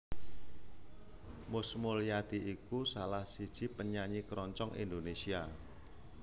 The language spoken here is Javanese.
Mus Mulyadi iku salah siji penyanyi keroncong Indonésia